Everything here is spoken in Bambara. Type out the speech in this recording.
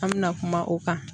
An mɛna kuma o kan.